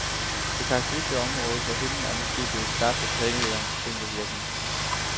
Det karakteristiske området på himlen er måske blevet skabt af planetens tyngdevirkning.